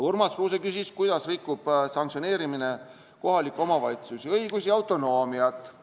Urmas Kruuse küsis, kuidas rikub sanktsioneerimine kohaliku omavalitsuse õigusi ja autonoomiat.